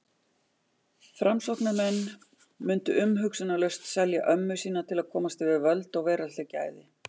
Framsóknarmenn mundu umhugsunarlaust selja ömmu sína til að komast yfir völd og veraldleg gæði.